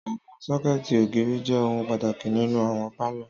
Àwọn sọ́kẹ̀tì ògiri jẹ ohun pàtàkì nínú àwọn pálọ̀.